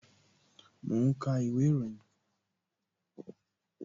Mo ń ka ìwé ìròyìn